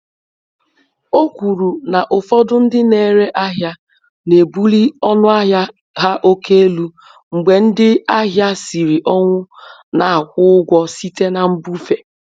O kwuru na ụfọdụ ndị na-ere ahịa na-ebuli ọnụ ahịa há oke elu mgbe ndị ahịa siri ọnwụ na-akwụ ụgwọ site na mbufe.